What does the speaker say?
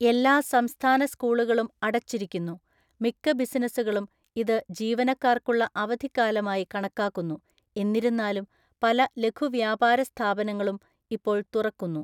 എല്ലാ സംസ്ഥാന സ്കൂളുകളും അടച്ചിരിക്കുന്നു, മിക്ക ബിസിനസ്സുകളും ഇത് ജീവനക്കാർക്കുള്ള അവധിക്കാലമായി കണക്കാക്കുന്നു; എന്നിരുന്നാലും, പല ലഘുവ്യാപാരസ്ഥാപനങ്ങളും ഇപ്പോൾ തുറക്കുന്നു.